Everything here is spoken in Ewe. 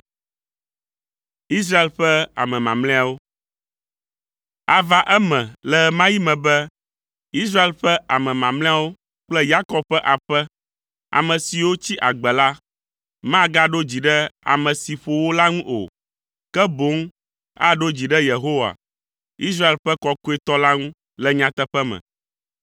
Ava eme le ɣe ma ɣi me be Israel ƒe ame mamlɛawo kple Yakob ƒe aƒe, ame siwo tsi agbe la, magaɖo dzi ɖe ame si ƒo wo la ŋu o, ke boŋ aɖo dzi ɖe Yehowa, Israel ƒe kɔkɔetɔ la ŋu le nyateƒe me.